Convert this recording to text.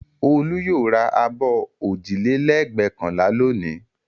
Olú yóò ra abọ́ òjìlélẹ́ẹ̀gbẹ́kànlá lónìí.